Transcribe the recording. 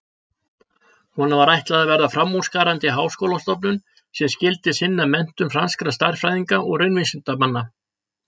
Honum var ætlað að verða framúrskarandi háskólastofnun sem skyldi sinna menntun franskra stærðfræðinga og raunvísindamanna.